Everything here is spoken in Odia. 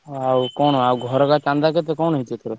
ଆଉ କଣ ଆଉ ଘର କା ଚାନ୍ଦା କଣ ହେଇଛି ଏଇଥର କ?